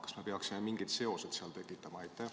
Kas me peaksime seal mingeid seoseid tekitama?